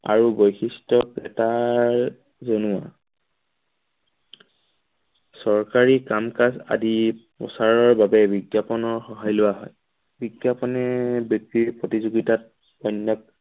আৰু বৈশিষ্ট্য এটাৰ জনোৱা চৰকাৰী কাম-কাজ আদি প্ৰচাৰ বাবে বিজ্ঞাপনৰ সহায় লোৱা হয় বিজ্ঞাপনে বিক্ৰীৰ প্ৰতিযোগিতাত পুণ্যক